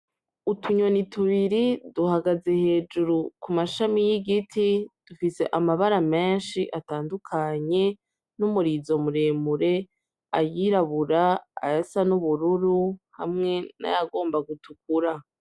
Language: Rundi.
Utunyoni tubiri duhagaze hejuru ku mashami y'igiti dufise amabara menshi atandukanye n'umurizomuremure ayirabura aya sa n'ubururu hamwe n'ayagomba gutukura.